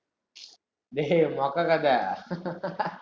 டேய், மொக்க கதை